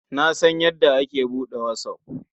Na san yadda ake buɗe whatsApp.